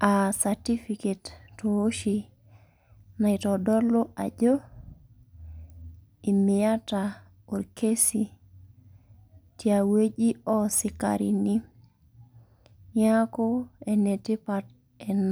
ah certificate tooshi naitodolu ajo, imiata orkesi tiawueji osikarini. Niaku enetipat ena.